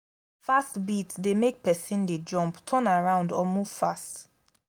fast beat de make persin de jump turn around or move fast